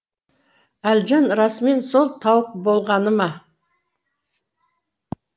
әлжан расымен сол тауық болғаны ма